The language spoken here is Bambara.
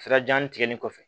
Sira janni tigɛli kɔfɛ